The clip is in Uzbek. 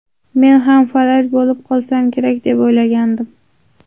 Men ham falaj bo‘lib qolsam kerak deb o‘ylagandim.